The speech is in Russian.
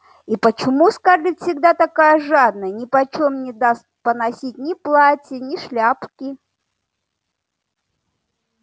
и почему скарлетт всегда такая жадная нипочём не даст поносить ни платья ни шляпки